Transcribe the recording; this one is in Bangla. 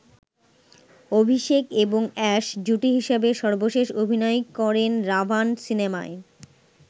অভিষেক এবং অ্যাশ জুটি হিসেবে সর্বশেষ অভিনয় করেন 'রাভান' সিনেমায়।